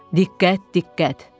Diqqət, diqqət!